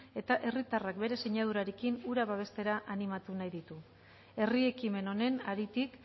eta herritarrak bere sinadurarekin hura babestera animatu nahi ditu herri ekimen honen haritik